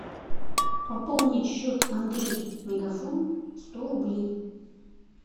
пополнить счет андрей мегафон сто рублей